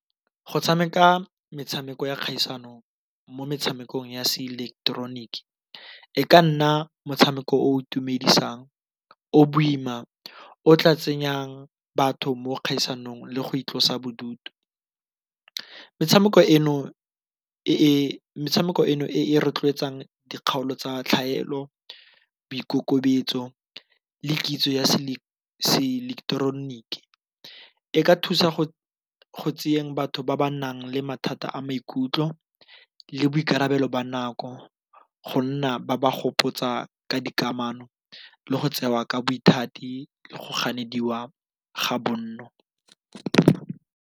Go tshameka metshameko ya kgaisano mo metshamekong ya se ileketeroniki e ka nna motshameko o itumedisang, o boima, o tla tsenyang batho mo dikgaisanong le go itlosa bodutu. Metshameko eno e e rotloetsang dikgaolo tsa tlhaelo boikokobetso le kitso ya se ileketeroniki e ka thusa go tseeng batho ba ba nang le mathata a maikutlo le boikarabelo ba nako go nna ba ba gopotsa ka dikamano le go tsewa ka bothati le go gapelediwa ga bonno.